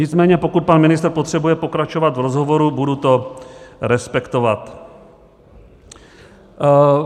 Nicméně pokud pan ministr potřebuje pokračovat v rozhovoru, budu to respektovat.